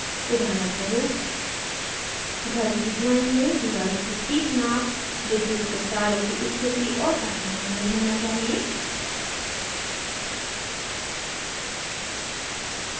उदाहरणस्वरूप घर की drawing में दीवारों की ठीक नाप विद्युत के तारों की स्थिति और अन्य शामिल होना चाहिए